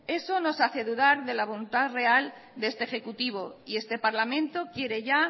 eso nos hace dudar de la voluntad real de este ejecutivo y este parlamento quiere ya